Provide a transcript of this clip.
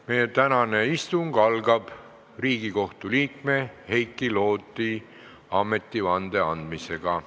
Meie tänane istung algab Riigikohtu liikme Heiki Loodi ametivande andmisega.